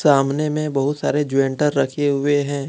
सामने मे बहुत सारे ज्वेन्टर रखे हुए हैं।